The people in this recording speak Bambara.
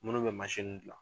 Munnu be gilan .